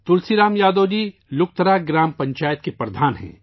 تلسی رام یادو جی لکترا گرام پنچایت کے پردھان ہیں